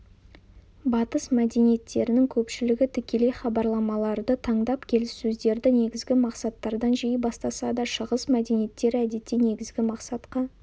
батыс мәдениеттерінің көпшілігі тікелей хабарламаларды таңдап келіссөздерді негізгі мақсаттардан жиі бастаса да шығыс мәдениеттері әдетте негізгі мақсатқа